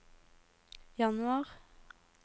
januar